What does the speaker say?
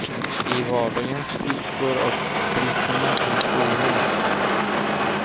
I vardagens sprickor och bristningar finns oron.